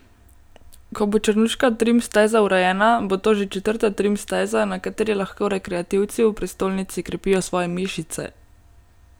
Ko bo črnuška trim steza urejena, bo to že četrta trim steza, na kateri lahko rekreativci v prestolnici krepijo svoje mišice.